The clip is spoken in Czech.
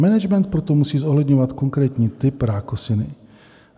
Management proto musí zohledňovat konkrétní typ rákosiny.